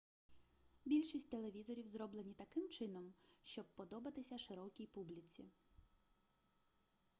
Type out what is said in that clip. більшість телевізорів зроблені таким чином щоб подобатися широкій публіці